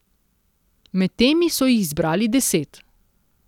Med temi so jih izbrali deset.